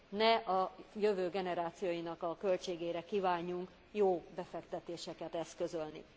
Ne a jövő generációinak a költségére kívánjunk jó befektetéseket eszközölni.